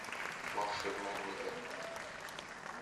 волшебная миля